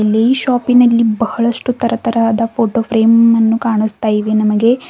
ಇಲ್ಲಿ ಶಾಪಿನಲ್ಲಿ ಬಹಳಷ್ಟು ತರತರಹದ ಫೋಟೋ ಫ್ರೇಮ್ಮನ್ನು ಕಾಣಿಸ್ತಾ ಇವೆ ನಮಗೆ.